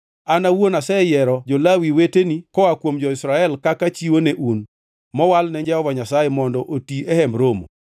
An awuon aseyiero jo-Lawi weteni koa kuom jo-Israel kaka chiwo ne un, mowal ne Jehova Nyasaye mondo oti e Hemb Romo.